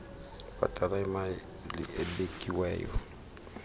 bhatala imali ebekiweyo